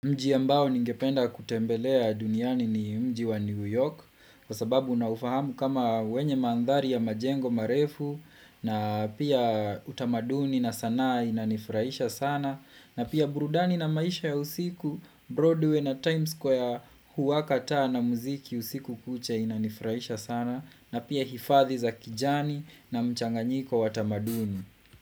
Mji ambao ningependa kutembelea duniani ni mji wa New York kwa sababu naufahamu kama wenye mandhari ya majengo marefu na pia utamaduni na sana inanifurahisha sana na pia burudani na maisha ya usiku Broadway na Times Square huwaka taa na muziki usiku kucha inanifurahisha sana na pia hifadhi za kijani na mchanganyiko wa tamaduni.